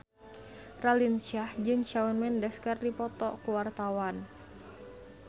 Raline Shah jeung Shawn Mendes keur dipoto ku wartawan